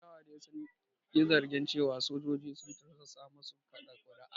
Ƴan adawar dai sun yi zargin cewa sojoji sun tursasa masu kaɗa kuri’a.